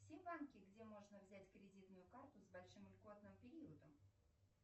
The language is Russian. все банки где можно взять кредитную карту с большим льготным периодом